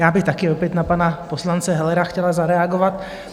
Já bych také opět na pana poslance Hellera chtěla zareagovat.